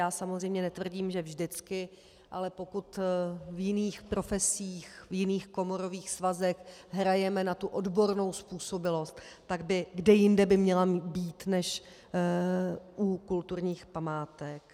Já samozřejmě netvrdím, že vždycky, ale pokud v jiných profesích, v jiných komorových svazech hrajeme na tu odbornou způsobilost, tak kde jinde by měla být než u kulturních památek?